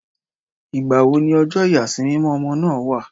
Ìgbà wo ni ọjọ́ ìyàsímímọ́ ọmọ náà wà?